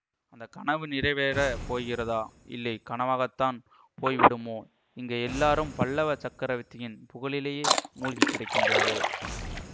அந்த கனவு நிறைவேறப் போகிறதா இல்லை கனவாகத்தான் போய்விடுமோ இங்கே எல்லாரும் பல்லவ சக்கரவர்த்தியின் புகழிலேயே மூழ்கி கிடக்கிறார்கள்